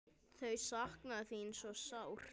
Þau sakna þín svo sárt.